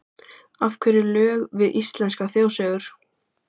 Af hverju lög við íslenskar þjóðsögur?